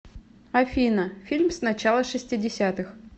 афина фильм с начала шестидесятых